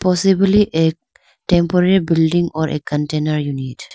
Possibly a temporary building or a container unit.